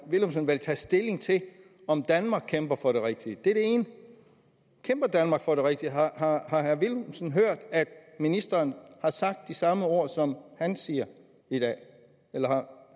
villumsen vel tage stilling til om danmark kæmper for det rigtige det er det ene kæmper danmark for det rigtige har herre villumsen hørt at ministeren har sagt de samme ord som han siger i dag eller har